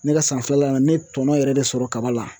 Ne ka san filala na ne ye tɔnɔ yɛrɛ de sɔrɔ kaba la